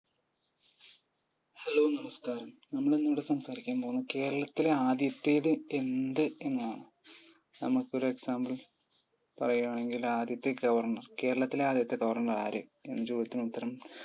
hello നമസ്ക്കാരം, നമ്മൾ ഇന്ന് ഇവിടെ സംസാരിക്കാൻ പോകുന്നത് കേരളത്തിലെ ആദ്യത്തേത് എന്ത് എന്നാണ്. നമുക്ക് ഒരു example പറയുകയാണെങ്കിൽ ആദ്യത്തെ governor കേരളത്തിലെ ആദ്യത്തെ governor ആര്? എന്ന ചോദ്യത്തിന് ഉത്തരം